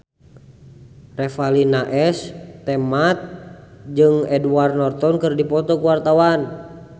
Revalina S. Temat jeung Edward Norton keur dipoto ku wartawan